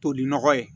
Toli nɔgɔ ye